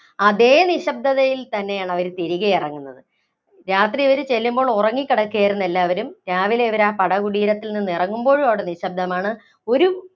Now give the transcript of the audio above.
അതേ നിശ്ശബ്ദതയില്‍ തന്നെയാണ് അവര്‍ തിരികെ ഇറങ്ങുന്നത്. രാത്രി ഇവര് ചെല്ലുമ്പോള്‍ ഉറങ്ങി കിടക്കുകയായിരുന്നു എല്ലാവരും. രാവിലെ ഇവര് ആ പടകുടീരത്തില്‍ നിന്നും ഇറങ്ങുമ്പോഴും അവിടെ നിശബ്ദമാണ് ഒരു